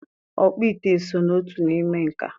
Ọkpụ ite so n'otu n'ime nka.